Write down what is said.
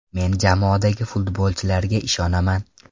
Men jamoadagi futbolchilarga ishonaman.